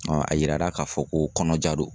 a yirara k'a fɔ ko kɔnɔja do.